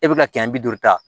E bɛ ka kɛmɛ bi duuru ta